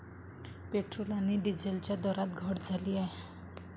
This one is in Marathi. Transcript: पेट्रोल आणि डिझेलच्या दरात घट झाली आहे.